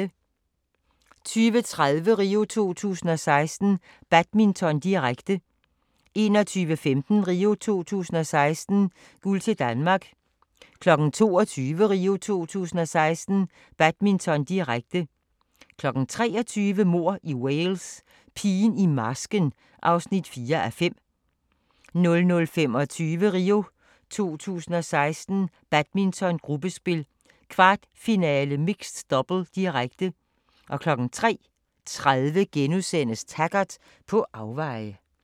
20:30: RIO 2016: Badminton, direkte 21:15: RIO 2016: Guld til Danmark 22:00: RIO 2016: Badminton, direkte 23:00: Mord i Wales: Pigen i marsken (4:5) 00:25: RIO 2016: Badminton, gruppespil, 1/4-finale mixed double, direkte 03:30: Taggart: På afveje *